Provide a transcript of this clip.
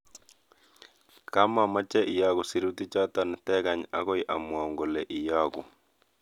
Kamameche iyogu sirutichoto tigany agoi amwaun kole iyagu